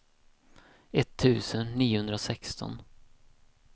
etttusen niohundrasexton